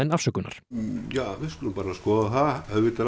afsökunar ja við skulum bara skoða það auðvitað